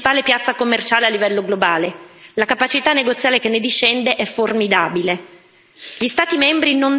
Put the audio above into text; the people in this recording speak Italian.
Il mercato europeo è la principale piazza commerciale a livello globale, la capacità negoziale che ne discende è formidabile.